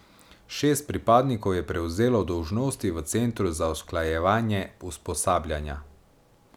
Šest pripadnikov je prevzelo dolžnosti v centru za usklajevanje usposabljanja.